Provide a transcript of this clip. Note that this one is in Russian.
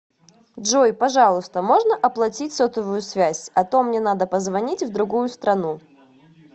джой пожалуйста можно оплатить сотовую связь а то мне надо позвонить в другую страну